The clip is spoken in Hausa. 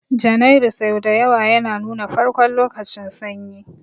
Janairu sau da yawa yana nuna farkon lokacin Sanyi